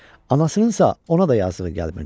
Anasınınsa ona da yazığı gəlmirdi.